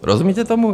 Rozumíte tomu?